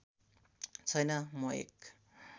छैन म एक